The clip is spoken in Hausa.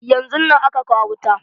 Yanzun nan aka kawo wuta.